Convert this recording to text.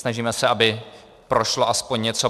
Snažíme se, aby prošlo aspoň něco.